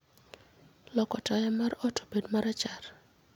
loko taya mar ot obed marachar